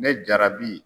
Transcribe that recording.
Ne jarabi